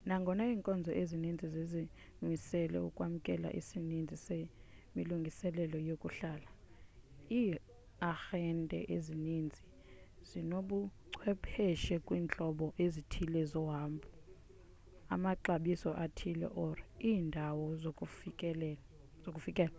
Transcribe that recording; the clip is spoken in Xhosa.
nangona iinkonzo ezininzi zizimisele ukwamkela isininzi semilungiselelo yokuhlala iiarhente ezininzi zinobuchwephesha kwiintlobo ezithile zohambho amaxabiso athile or iindawo zokufikela